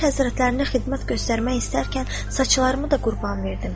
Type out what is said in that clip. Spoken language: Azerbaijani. Əmir Həzrətlərinə xidmət göstərmək istərkən saçlarımı da qurban verdim.